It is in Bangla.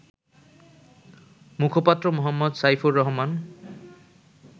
মুখপাত্র মো. সাইফুর রহমান